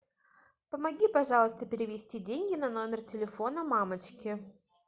помоги пожалуйста перевести деньги на номер телефона мамочки